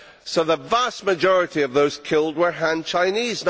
So the vast majority of those killed were Han Chinese.